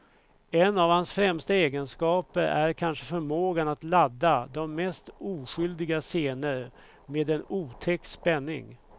En av hans främsta egenskaper är kanske förmågan att ladda de mest oskyldiga scener med en otäck spänning.